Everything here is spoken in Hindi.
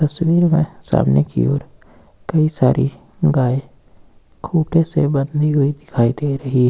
तस्वीर में सामने की ओर कई सारी गाय खूंटे से बंधी हुई दिखाई दे रही है।